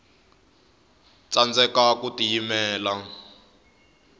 tsandeka ku tiyimelela